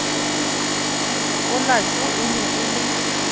olato e ne e le